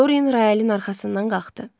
Doryen Royalın arxasından qalxdı.